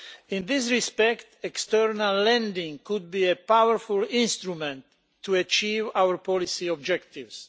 In this respect, external lending could be a powerful instrument to achieve our policy objectives.